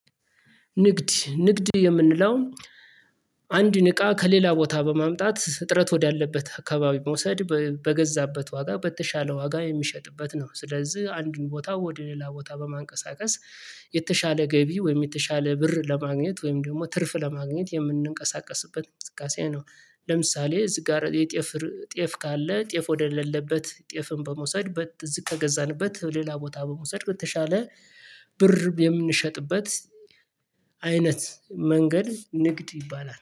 ንግድ ንግድ የምንለው አንድን እቃ ከሌላ ቦታ በማምጣት እጥረት ወዳለበት አካባቢ መውሰድ በገዛበት ዋጋ በተሻለ ዋጋ የሚሸጥበት ነው። ስለዚህ አንዱን ቦታ ወደ ሌላ ቦታ በማንቀሳቀስ የተሻለ ገቢ ወይም የተሻለ ብር ለማግኘት ወይም ደግሞ ትርፍ ለማግኘት የምንንቀሳቀስበት ምክንያት ነው። ለምሳሌ እዚህ ጋር የጤፍ ጤፍ ካለ ጤፍ ወደሌለበት ጤፍን በመውሰድ በዝቅ ከገዛንበት ሌላ ቦታ በመውሰድ በተሻለ ብር የምንሸጥበት አይነት መንገድ ንግድ ይባላል